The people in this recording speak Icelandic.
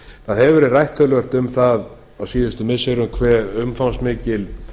það hefur verið rætt töluvert um það á síðustu missirum hve umfangsmikil